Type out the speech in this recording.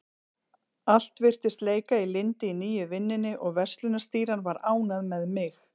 Allt virtist leika í lyndi í nýju vinnunni og verslunarstýran var ánægð með mig.